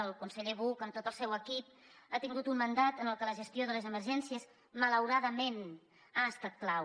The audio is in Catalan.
el conseller buch amb tot el seu equip ha tingut un mandat en què la gestió de les emergències malauradament ha estat clau